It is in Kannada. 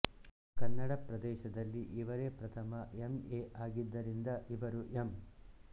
ಕನ್ನಡ ಪ್ರದೇಶದಲ್ಲಿ ಇವರೇ ಪ್ರಥಮ ಎಮ್ ಏ ಆಗಿದ್ದರಿಂದ ಇವರು ಎಮ್